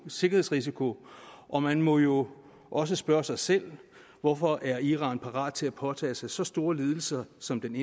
sikkerhedsrisiko og man må jo også spørge sig selv hvorfor iran er parat til at påtage sig så store lidelser som den